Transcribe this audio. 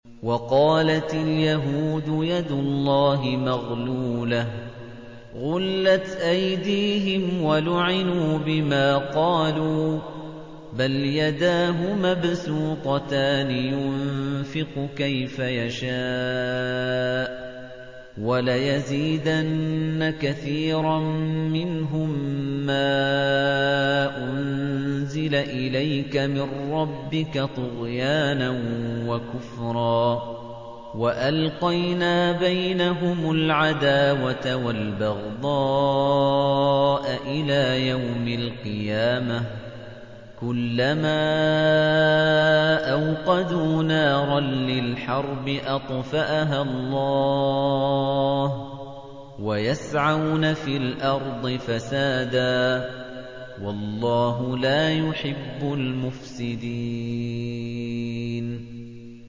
وَقَالَتِ الْيَهُودُ يَدُ اللَّهِ مَغْلُولَةٌ ۚ غُلَّتْ أَيْدِيهِمْ وَلُعِنُوا بِمَا قَالُوا ۘ بَلْ يَدَاهُ مَبْسُوطَتَانِ يُنفِقُ كَيْفَ يَشَاءُ ۚ وَلَيَزِيدَنَّ كَثِيرًا مِّنْهُم مَّا أُنزِلَ إِلَيْكَ مِن رَّبِّكَ طُغْيَانًا وَكُفْرًا ۚ وَأَلْقَيْنَا بَيْنَهُمُ الْعَدَاوَةَ وَالْبَغْضَاءَ إِلَىٰ يَوْمِ الْقِيَامَةِ ۚ كُلَّمَا أَوْقَدُوا نَارًا لِّلْحَرْبِ أَطْفَأَهَا اللَّهُ ۚ وَيَسْعَوْنَ فِي الْأَرْضِ فَسَادًا ۚ وَاللَّهُ لَا يُحِبُّ الْمُفْسِدِينَ